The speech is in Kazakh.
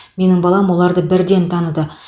менің балам оларды бірден таныды